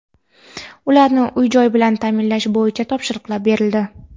ularni uy-joy bilan ta’minlash bo‘yicha topshiriqlar berildi.